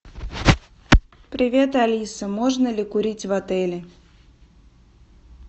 привет алиса можно ли курить в отеле